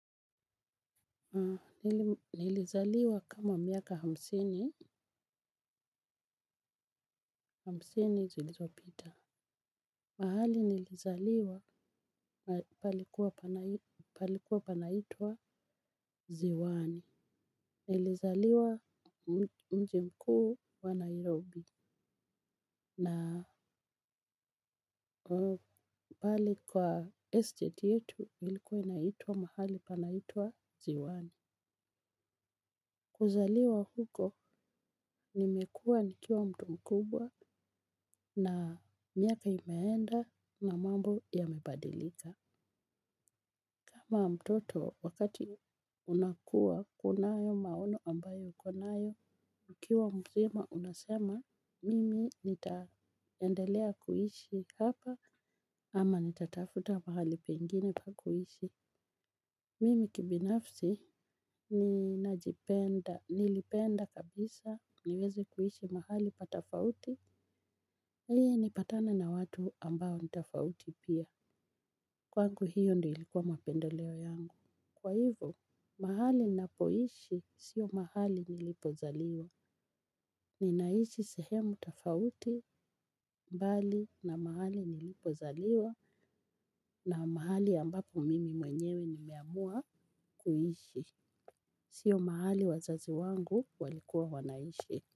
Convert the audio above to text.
Nilizaliwa kama miaka hamsini, hamsini zilizopita. Mahali nilipozaliwa palikua panaitwa ziwani. Nilizaliwa mji mkuu wa Nairobi. Na pale kwa estate yetu ilikuwa naitwa mahali panaitwa ziwani. Kuzaliwa huko nimekua nikiwa mtu mkubwa na miaka inaenda na mambo yanabadilika kama mtoto wakati unakua kunayo maono ambayo ukonayo ukiwa mzima unasema mimi nitaendelea kuishi hapa ama nitatafuta mahali pengine pa kuhishi. Mimi kibinafsi nina jipenda, nilipenda kabisa, niweze kuishi mahali pa tofauti. Ili ni patane na watu ambao ni tofauti pia. Kwangu hiyo ndio ilikuwa mapendeleo yangu. Kwa hivyo, mahali ninapoishi sio mahali nilipozaliwa. Nina ishi sehemu tofauti mbali na mahali nilipozaliwa na mahali ambapo mimi mwenyewe ni meamua kuishi. Sio mahali wazazi wangu walikuwa wanaishi.